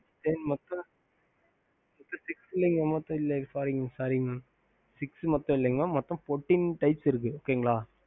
எப்போ வந்து six இருக்கு சொன்னிங்க இல்ல sorry mam six இல்ல மொத்தம் Fourteen types இருக்கு